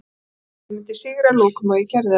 Ég vissi að ég myndi sigra að lokum og ég gerði það.